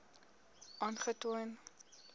aangetoon